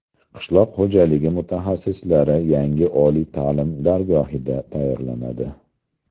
Qishloq xo‘jaligi mutaxassislari yangi oliy ta’lim dargohida tayyorlanadi.